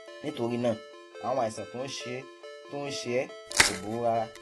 nítorí náà àwọn àìsàn tó ń ṣe tó ń ṣe ẹ kò burú rárá